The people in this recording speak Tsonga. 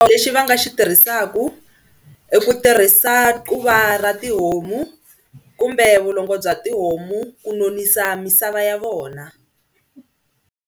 Lexi va nga xi tirhisaka ku tirhisa quva ra tihomu kumbe vulongo bya tihomu ku nonisa misava ya vona.